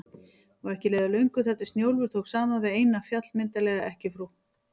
Og ekki leið á löngu þar til Snjólfur tók saman við eina, fjallmyndarlega ekkjufrú